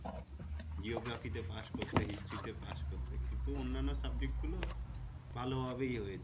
geography পাস করতে history পাস করতে কিন্তু অনান্য subject গুলো ভালো ভাবে ইয়ে হয়েছিল